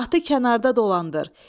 Atı kənarda dolandır.